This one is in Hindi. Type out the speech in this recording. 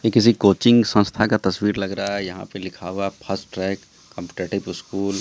ये किसी कोचिंग संस्था का तस्वीर लग रहा है यहां पे लिखा हुआ है फास्ट ट्रैक कॉम्पिटेटिव स्कूल ।